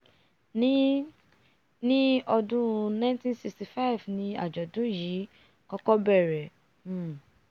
ní ní ọdún 1965 ní àjọ̀dún yìí kọ́kọ́ bẹ̀rẹ̀ um